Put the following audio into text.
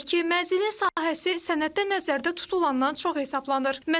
Belə ki, mənzilin sahəsi sənəddə nəzərdə tutulandan çox hesablanır.